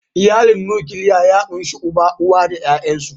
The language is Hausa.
Iyalin Nukiliya ya ƙunshi uba, uwa da ƴaƴansu.